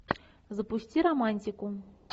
запусти романтику